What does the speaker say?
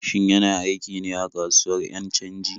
Shin yana aiki ne a kasuwar 'yan canji?